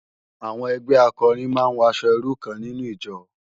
Awòn ègbè àkòrín má n wò aṣò irú kán ninú ijò